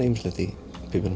ýmislegt í pípunum